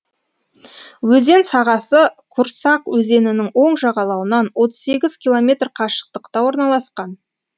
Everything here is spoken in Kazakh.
өзен сағасы курсак өзенінің оң жағалауынан отыз сегіз километр қашықтықта орналасқан